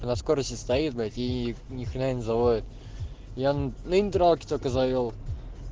на скорости стоит блять ии ни хрена не заводит я только на нейтралке завёл